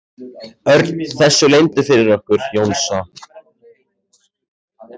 Örn þessu leyndu fyrir okkur Jónsa?